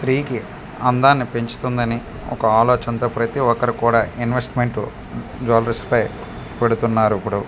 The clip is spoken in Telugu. స్త్రీకి అందాన్ని పెంచుతుందని ఒక ఆలోచనతో ప్రతి ఒక్కరు కూడా ఇన్వెస్ట్మెంట్ జ్యువెలరీస్ పై పెడుతున్నారు ఇప్పుడు--